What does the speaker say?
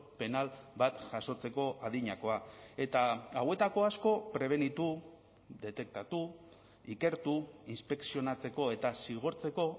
penal bat jasotzeko adinakoa eta hauetako asko prebenitu detektatu ikertu inspekzionatzeko eta zigortzeko